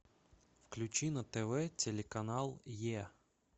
включи на тв телеканал е